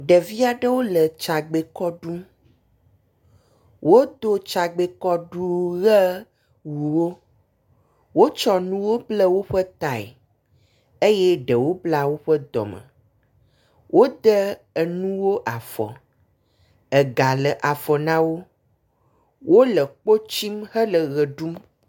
Ɖevi aɖewo le tsagbekɔ ɖum. Wodo tsagbekɔɖuʋe vovovowo. Wotsɔ nuwo ble woƒe tae eye ɖewo bla woƒe dɔme. Wode enuwo afɔ ega le afɔ na wo. Wo le kpotsim hele ʋe ɖum.